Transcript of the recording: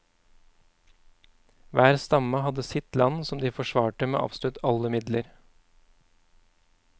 Hver stamme hadde sitt land som de forsvarte med absolutt alle midler.